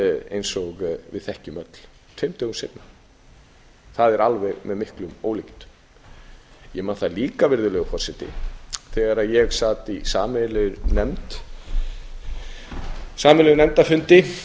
eins og við þekkjum öll tveimur dögum seinna það er alveg með miklum ólíkindum ég man það líka virðulegur forseti þegar ég sat á sameiginlegum nefndarfundi